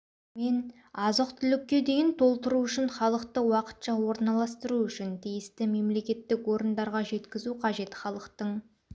мен азық-түлікке дейін толтыру үшін халықты уақытша орналастыру үшін тиісті мемлекеттік орындарға жеткізу қажет халықтың